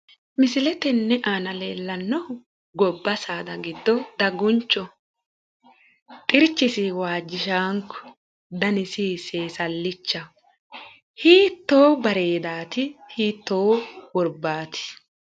Misile tenne aana leellannohu gobba saada giddo daguncho xirchisi waajjishaanko danisi seesallichaho hiittoo bareedaati hiittoo worbaati